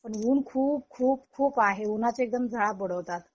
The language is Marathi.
पण ऊन खूप खूप खूप आहे उन्हाचे एकदम झाल्या